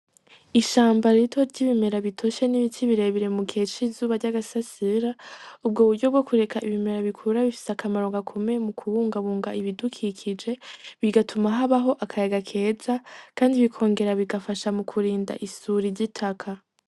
Ishamba rito ry'ibimera bitoshe n'ibiti birebire mu gihe c'izuba ry'agasasira ,ubwo buryo bwo kureka ibimera bikure bifise akamaro gakomeye mu kubungabunga ibidukikije , bigatuma habaho akayaga keza kandi bikongera bigafasha mu kurinda isuri z'itaka.